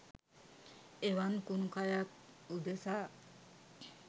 එවන් කුණු කයක් උදෙසා